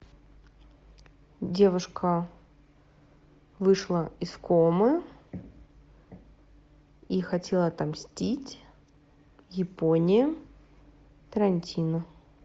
девушка вышла из комы и хотела отомстить японе тарантино